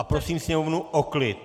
A prosím sněmovnu o klid!